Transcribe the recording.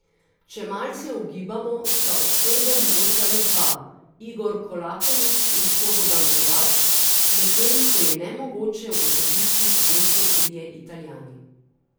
Če malce ugibamo, sta od Srbov mogoča le dva, Igor Kolaković in Slobodan Kovač, medtem ko je nemogoče ugotoviti, kdo so trije Italijani.